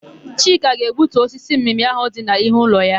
Chika ga-egbutu osisi mmịmị áhụ̀ dị n'ihu ụlọ ya.